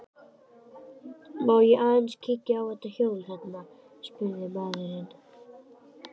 Má ég aðeins kíkja á þetta hjól þarna, spurði maðurinn.